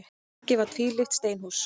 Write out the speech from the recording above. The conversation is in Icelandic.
Bakki var tvílyft steinhús.